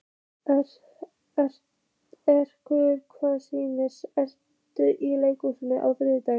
Alrekur, hvaða sýningar eru í leikhúsinu á þriðjudaginn?